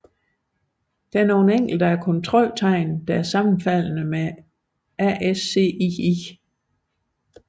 Enkelte af kontroltegnene er sammenfaldende med ASCII